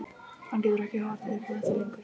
Hann getur ekki horft upp á þetta lengur.